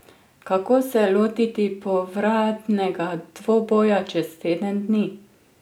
Kako se lotiti povratnega dvoboja čez teden dni?